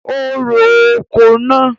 O ro oko náà.